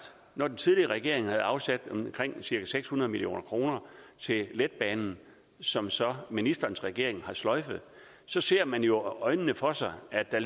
at når den tidligere regering havde afsat omkring seks hundrede million kroner til letbanen som som ministerens regering har sløjfet så ser man jo for sig at der